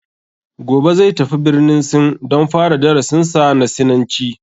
Gobe zai tafi birnin sin don fara darasin sa na sinanci